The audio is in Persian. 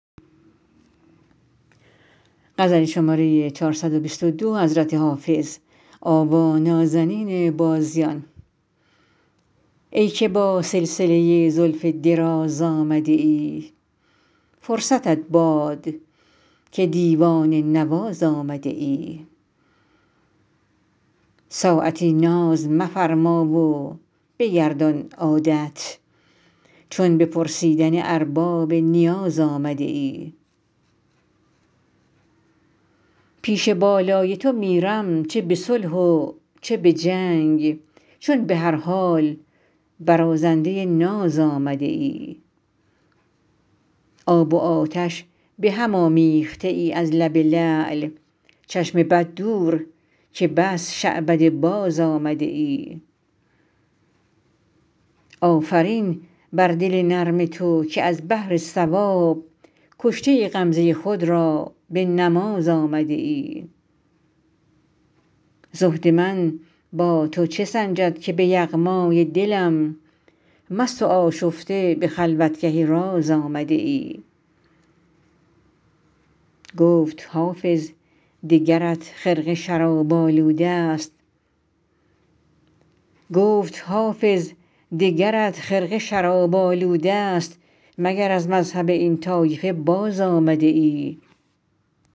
ای که با سلسله زلف دراز آمده ای فرصتت باد که دیوانه نواز آمده ای ساعتی ناز مفرما و بگردان عادت چون به پرسیدن ارباب نیاز آمده ای پیش بالای تو میرم چه به صلح و چه به جنگ چون به هر حال برازنده ناز آمده ای آب و آتش به هم آمیخته ای از لب لعل چشم بد دور که بس شعبده باز آمده ای آفرین بر دل نرم تو که از بهر ثواب کشته غمزه خود را به نماز آمده ای زهد من با تو چه سنجد که به یغمای دلم مست و آشفته به خلوتگه راز آمده ای گفت حافظ دگرت خرقه شراب آلوده ست مگر از مذهب این طایفه باز آمده ای